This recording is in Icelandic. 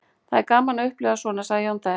Það er gaman að upplifa svona, sagði Jón Daði.